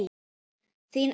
Þín Ester.